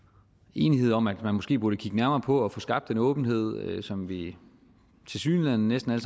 enighed om at man måske burde kigge nærmere på og få skabt den åbenhed som vi tilsyneladende næsten